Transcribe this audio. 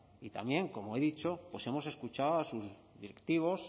y también como he dicho hemos escuchado a sus directivos